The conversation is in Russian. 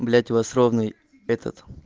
блять вас ровный этот